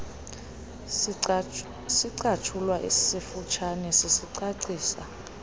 sicatshulwa sifutshane sicacisa